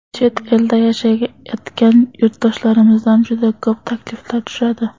Chet elda yashayotgan yurtdoshlarimizdan juda ko‘p takliflar tushadi.